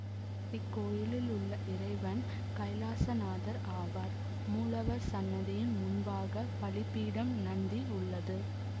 இக்கோயிலிலுள்ள இறைவன் கைலாசநாதர் ஆவார் மூலவர் சன்னதியின் முன்பாக பலிபீடம் நந்தி உள்ளது